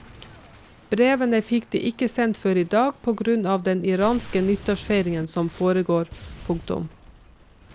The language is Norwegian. Brevene fikk de ikke sendt før i dag på grunn av den iranske nyttårsfeiringen som foregår. punktum